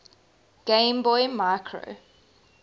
game boy micro